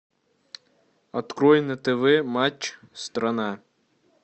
открой на тв матч страна